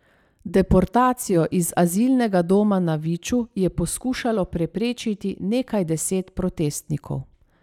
Deportacijo iz azilnega doma na Viču je poskušalo preprečiti nekaj deset protestnikov.